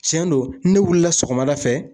Tiɲɛ don ne wilila sɔgɔmada fɛ